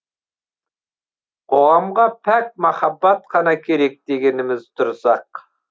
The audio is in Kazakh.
қоғамға пәк махаббат қана керек дегеніміз дұрыс ақ